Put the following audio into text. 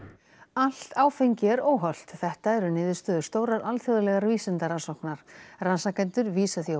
allt áfengi er óhollt þetta eru niðurstöður stórrar alþjóðlegrar vísindarannsóknar rannsakendur vísa því á